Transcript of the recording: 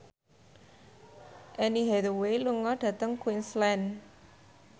Anne Hathaway lunga dhateng Queensland